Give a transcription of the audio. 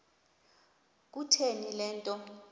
kutheni le nto